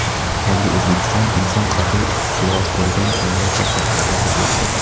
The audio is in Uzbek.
Yangi O‘zbekiston – inson qadri ustuvor bo‘lgan jamiyat va xalqparvar davlatdir.